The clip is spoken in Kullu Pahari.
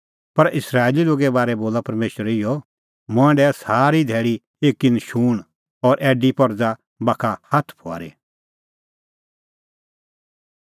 पर इस्राएली लोगे बारै बोला परमेशर इहअ मंऐं डाहै सारी धैल़ी एकी नशूंण और ऐडी परज़ा बाखा हाथ फुआरी